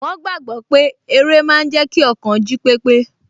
Wọ́n gbàgbọ́ pé eré máa n jẹ́ kí ọkàn jí pépé